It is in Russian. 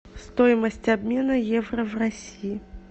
стоимость обмена евро в россии